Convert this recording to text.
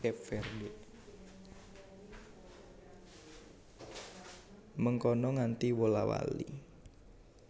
Mengkono nganti wola wali